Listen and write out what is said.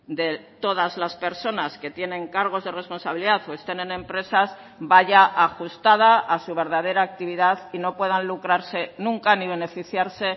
de todas las personas que tienen cargos de responsabilidad o estén en empresas vaya ajustada a su verdadera actividad y no puedan lucrarse nunca ni beneficiarse